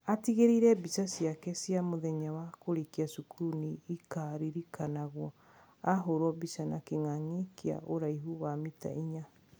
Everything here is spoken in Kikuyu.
Atigĩrĩire mbica ciake cia mũthenya wa kũrĩkia cukuru nĩ ikaaririkanagwo ahũrwo mbica na kĩng'ang'ĩ kya ũraihu wa mita inya.